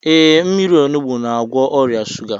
Ee, mmírí onugbu na-agwọ ọrịa shuga